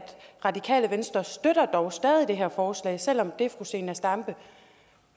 radikale venstre dog stadig det her forslag selv om det fru zenia stampe